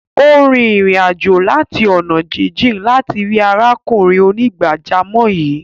Ó rìn ìrìn-àjò láti ọ̀nà jíjìn láti rí arákùnrin onígbàjámọ̀ yìí.